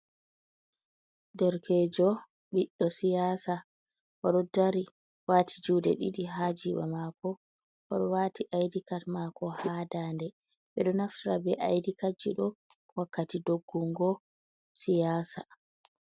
Derkejo ɓiɗɗo siyasa oɗo dari wati juɗe ɗiɗi ha jiba mako oɗo wati aidikat mako ha dande ɓeɗo naftira be aidikaji ɗo wakkati doggungo siyasa.